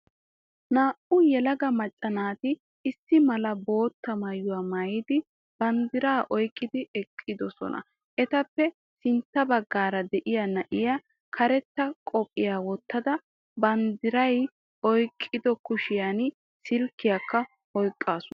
Naa''u yelaga macca naati issi mala bootta maayuwa maayidi banddiray oykkidi eqqidosona Etappe sintta baggaara de''iya na'iya karetta qophiya wottada banddiray oykkido kushiyan silkkiyakka oykkaasu